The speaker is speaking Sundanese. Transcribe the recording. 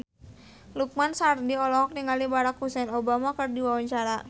Lukman Sardi olohok ningali Barack Hussein Obama keur diwawancara